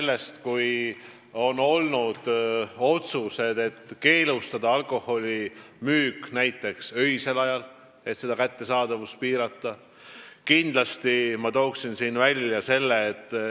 Näiteks on otsustatud keelustada alkoholi müük öisel ajal ja piirata niimoodi selle kättesaadavust.